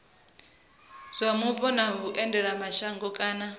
zwa mupo na vhuendelamashango kana